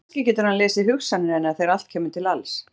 Kannski getur hann lesið hugsanir hennar þegar allt kemur til alls!